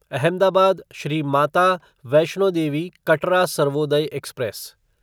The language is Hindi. अहमदाबाद श्री माता वैष्णो देवी कटरा सर्वोदय एक्सप्रेस